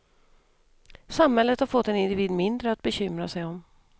Samhället har fått en individ mindre att bekymra sig om.